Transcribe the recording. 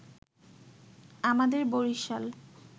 আমাদের বরিশাল